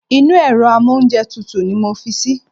Inú èro amóúnjetutù ni mo fi sí